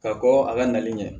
Ka kɔkɔ a ka nali ɲɛ